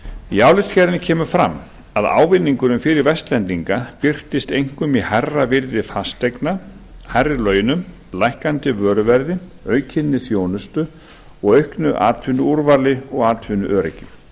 í álitsgerðinni kemur fram að ávinningurinn fyrir vestlendinga birtist einkum í hærra virði fasteigna hærri launum lækkandi vöruverði aukinni þjónustu og auknu atvinnuúrvali og atvinnuöryggi